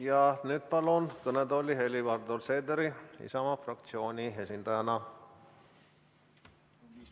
Ja nüüd palun kõnetooli Helir-Valdor Seederi Isamaa fraktsiooni esindajana.